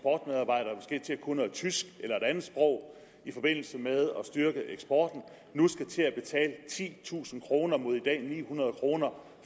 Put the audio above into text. en til at kunne noget tysk eller et andet sprog i forbindelse med at styrke eksporten nu skal til at betale titusind kroner mod i dag ni hundrede kroner